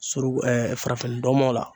Suruku farafinndɔmɔ la.